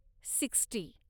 sixty